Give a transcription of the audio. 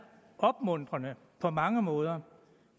opmuntrende på mange måder